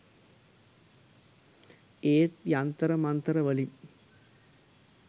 ඒත් යන්තර මන්තර වලින්